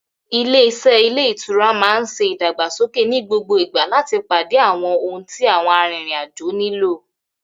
Ilé-iṣẹ́ ilé ìtura náà ń ṣe ìdàgbàsókè ní gbogbo ìgbà láti pàdé àwọn ohun tí àwọn arìnrìn-àjò nílò.